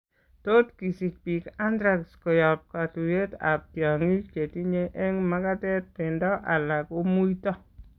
Tot kosich biik anthrax koyob katuyet ab tiongik chetinnye eng' makatet, beendo ala komuito